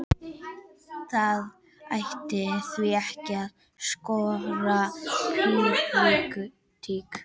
Það ætti því ekki að skorta pólitík.